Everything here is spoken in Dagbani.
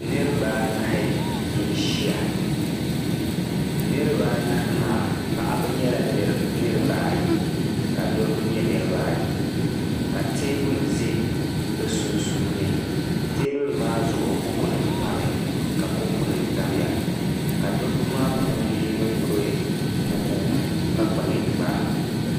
niriba anahi n-ʒia niriba anahi maa paɣiba nyɛla niriba ayi ka dɔbba nyɛ niriba ayi ka teebuli za bɛ sunsuuni teebuli maa zuɣu bukunima pami ka kopunima tamya ka dɔbba maa puuni yino gbubi bkuku ka kpa ninkpara